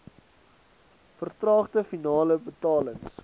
vertraagde finale betalings